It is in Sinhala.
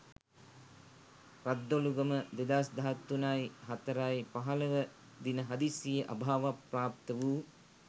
රද්දොළුගම 2013.04.15 දින හදිසියේ අභාවප්‍රාප්ත වූ